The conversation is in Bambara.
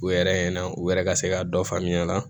U yɛrɛ ɲɛna u yɛrɛ ka se ka dɔ faamuya a la